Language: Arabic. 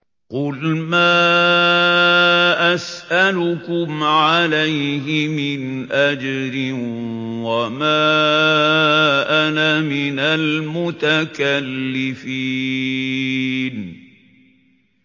قُلْ مَا أَسْأَلُكُمْ عَلَيْهِ مِنْ أَجْرٍ وَمَا أَنَا مِنَ الْمُتَكَلِّفِينَ